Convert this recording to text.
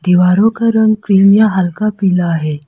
दीवारों का रंग क्रीम या हल्का पीला है।